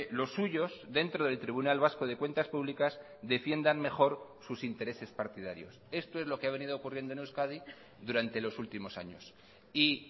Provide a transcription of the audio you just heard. los suyos dentro del tribunal vasco de cuentas públicas defiendan mejor sus intereses partidarios esto es lo que ha venido ocurriendo en euskadi durante los últimos años y